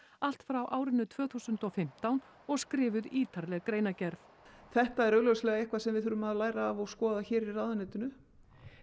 allt frá árinu tvö þúsund og fimmtán og skrifuð ítarleg greinargerð þetta er augljóslega eitthvað sem við þurfum að læra af og skoða hér í ráðuneytinu